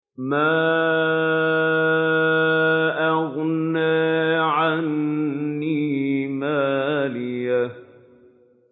مَا أَغْنَىٰ عَنِّي مَالِيَهْ ۜ